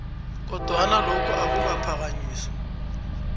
kodwana lokhu akukaphakanyiswa